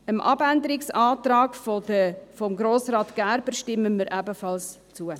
Dem Abänderungsantrag von Grossrat Gerber stimmen wir ebenfalls zu.